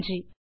நன்றி